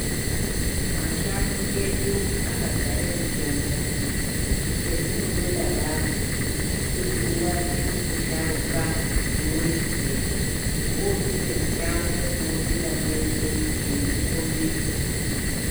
Mashango edu aka dzare mitombo che zvinondoda basi kuti uwane mu sharuka unoi ziya wopinde mushango mwo pinda mweshe eyiku kombidza.